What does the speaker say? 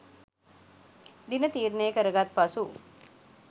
දින තීරණය කරගත් පසු